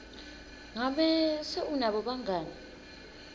ngabe se unabo bangani